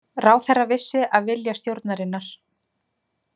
Ráðherra vissi af vilja stjórnarinnar